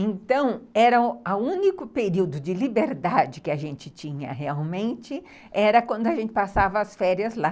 Então, era o único período de liberdade que a gente tinha realmente, era quando a gente passava as férias lá.